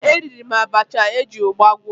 Eriri m abacha eji ụgba gwọ